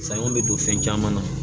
Saɲɔ bɛ don fɛn caman na